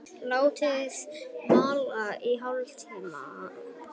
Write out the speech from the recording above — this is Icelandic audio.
Látið malla í hálftíma.